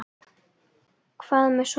Hvað með Sonju?